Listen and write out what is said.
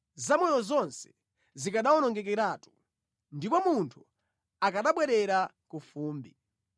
zamoyo zonse zikanawonongekeratu ndipo munthu akanabwerera ku fumbi.